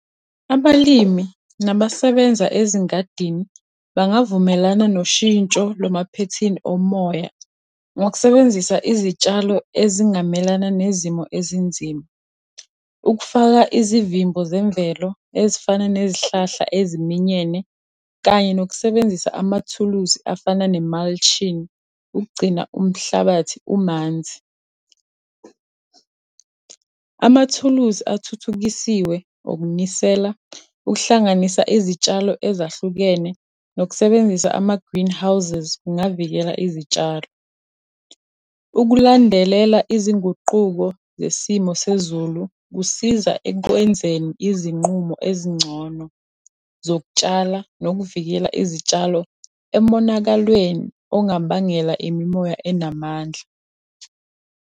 Abalimi nabasebenza ezingadini, bangavumelana noshintsho lwamaphethini omoya, ngokusebenzisa izitshalo ezingamelana nezimo ezinzima. Ukufaka izivimbo zemvelo ezifana nezihlahla eziminyene, kanye nokusebenzisa amathuluzi afana ne-mulching, ukugcina umhlabathi umanzi. Amathuluzi athuthukisiwe okunisela, ukuhlanganisa izitshalo ezahlukene, nokusebenzisa ama-greenhouses, kungavikela izitshalo. Ukulandelela izinguquko zesimo sezulu kusiza ekwenzeni izinqumo ezingcono zokutshala, nokuvikela izitshalo emonakalweni ongabangela imimoya enamandla.